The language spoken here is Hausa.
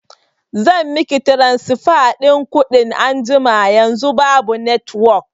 zan miki tiransifa ɗin kuɗin anjima, yanzu babu netiwok